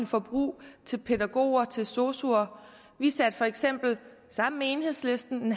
forbrug til pædagoger til sosuer vi satte for eksempel sammen med enhedslisten